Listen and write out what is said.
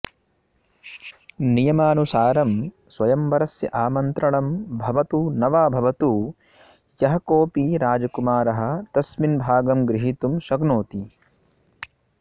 नियमासुसारं स्वयंवरस्य आमन्त्रणं भवतु न वा भवतु यः कोऽपि राजकुमारः तस्मिन् भागं गृहीतुं शक्नोति